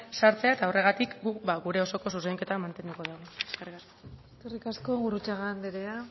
sartzea eta horregatik guk gure osoko zuzenketa mantenduko dugu eskerrik asko eskerrik asko gurrutxaga anderea